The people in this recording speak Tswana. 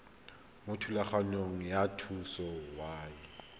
mo thulaganyong ya thuso y